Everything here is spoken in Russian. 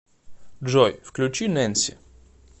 джой включи нэнси